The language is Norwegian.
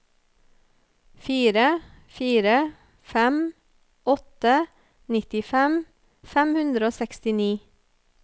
fire fire fem åtte nittifem fem hundre og sekstini